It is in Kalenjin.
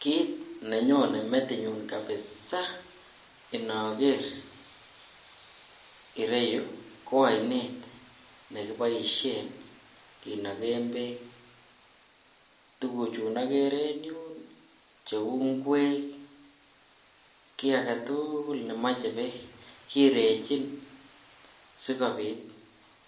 Kiit nenyone metinyun kabisaa inoker ireyu ko oinet nekiboishen kinoken beek tukuchun okeree en yuun cheuu ing'wek, kii ak ketukul nemoche beek kirechin sikobiit